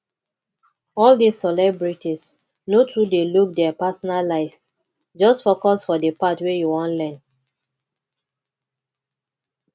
all dis celebrities no too dey look dia personal lives just focus for the part wey you wan learn